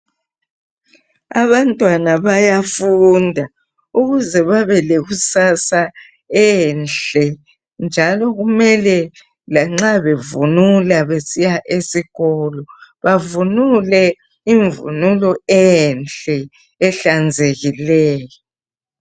Abantwana bayafunda ukuze babelekusasa enhle njalo kumele lanxa bevunula besiya esikolo, bavunule imvunulo enhle ehlanzekileyo.